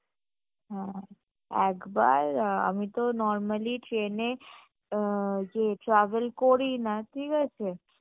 হম একবার আ আমি তো normally train এ আ যে travel করি না ঠিক আছে